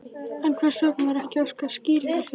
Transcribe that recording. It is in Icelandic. En hvers vegna var ekki óskað skýringa fyrr?